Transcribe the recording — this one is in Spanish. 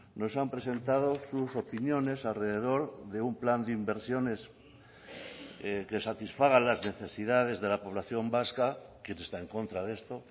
nos han presentado sus opiniones alrededor de un plan de inversiones que satisfaga las necesidades de la población vasca quién está en contra de esto